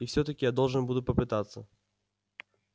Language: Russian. и всё-таки я должен буду попытаться